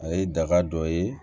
A ye daga dɔ ye